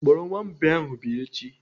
Kpọrọ nwa mbìa ahụ bịa echi!